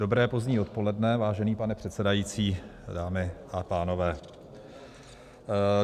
Dobré pozdní odpoledne, vážený pane předsedající, dámy a pánové.